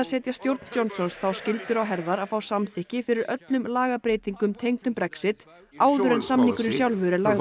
setja stjórn Johnsons þá skyldu á herðar að fá samþykki fyrir öllum lagabreytingum tengdum Brexit áður en samningurinn sjálfur er lagður